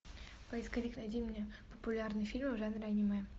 поисковик найди мне популярные фильмы в жанре аниме